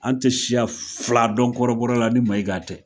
An te siya fila dɔn kɔrɔbɔrɔ la ni Maiga tɛ.